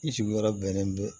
I sigiyɔrɔ bɛnnen bɛ